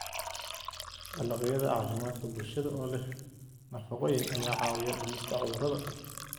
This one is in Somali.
Dalagyada Caafimaadka Bulshada oo leh nafaqooyin ayaa caawiya dhimista cudurrada.